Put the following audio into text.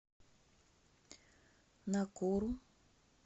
накуру